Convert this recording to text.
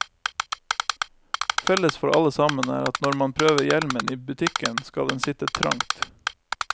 Felles for alle sammen er at når man prøver hjelmen i butikken, skal den sitte trangt.